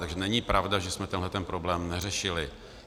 Takže není pravda, že jsme tenhle problém neřešili.